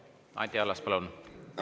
Anti Allas, palun!